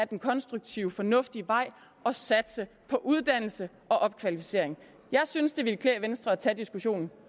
den konstruktive fornuftige vej og satse på uddannelse og opkvalificering jeg synes det ville klæde venstre at tage diskussionen